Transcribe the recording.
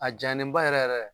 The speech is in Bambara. A jayalen ba yɛrɛ yɛrɛ